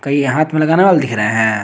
कई हाथ में लगाने वाला दिख रहा है।